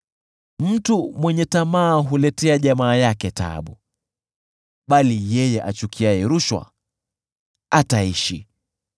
Mtu mwenye tamaa huletea jamaa yake taabu, bali yeye achukiaye rushwa ataishi.